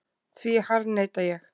Því harðneita ég.